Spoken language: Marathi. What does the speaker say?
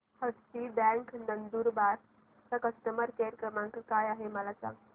हस्ती बँक नंदुरबार चा कस्टमर केअर क्रमांक काय आहे हे मला सांगा